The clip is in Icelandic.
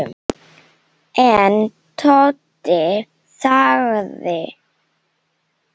En Tóti þagði.